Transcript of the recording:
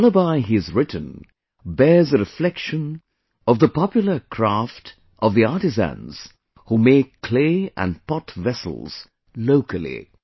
The lullaby he has written bears a reflection of the popular craft of the artisans who make clay and pot vessels locally